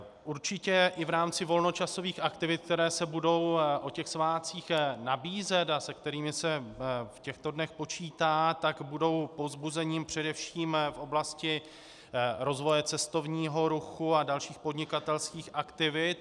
Určitě i v rámci volnočasových aktivit, které se budou o těch svátcích nabízet a se kterými se v těchto dnech počítá, tak budou povzbuzením především v oblasti rozvoje cestovního ruchu a dalších podnikatelských aktivit.